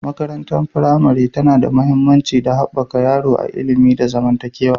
Makarantar firamare tana da mahimmanci don haɓaka yaro a ilimi da zamantakewa.